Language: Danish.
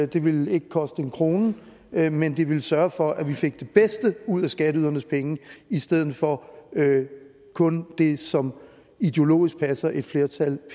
det ville ikke koste en krone men men det ville sørge for at vi fik det bedste ud af skatteydernes penge i stedet for kun det som ideologisk pt passer et flertal